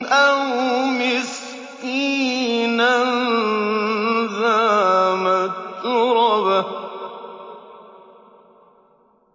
أَوْ مِسْكِينًا ذَا مَتْرَبَةٍ